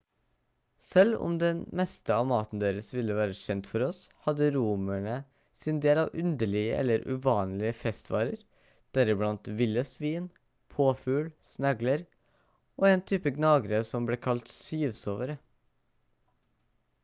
selv om den meste av maten deres ville være kjent for oss hadde romere sin del av underlige eller uvanlige festvarer deriblant ville svin påfugl snegler og en type gnagere som ble kalt syvsovere